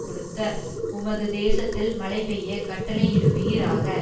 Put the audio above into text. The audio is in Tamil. கொடுத்த உமது தேசத்தில் மழைபெய்யக் கட்டளையிடுவீராக